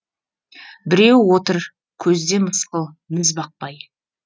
біреуі отыр көзде мысқыл міз бақпай